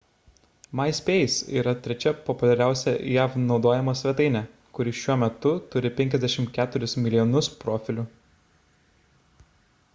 myspace yra trečia populiariausia jav naudojama svetainė kuri šiuo metu turi 54 milijonus profilių